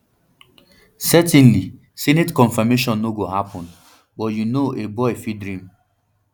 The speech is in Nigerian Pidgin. certainly senate confirmation no go happun but you you know a boy fit dream